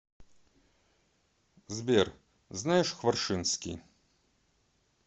сбер знаешь хваршинский